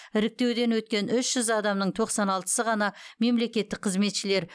іріктеуден өткен үш жүз адамның тоқсан алтысы ғана мемлекеттік қызметшілер